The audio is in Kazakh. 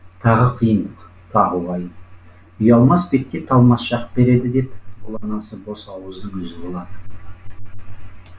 тағы қиындық тағы уайым ұялмас бетке талмас жақ береді деп бұл анасы бос ауыздың өзі болады